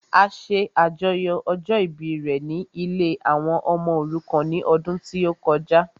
Ó ṣe àjọyọ̀ ọjọ́ ìbí rẹ ní ilée àwọn ọmọ òrukàn ní ọdún tí ó kọjá